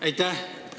Aitäh!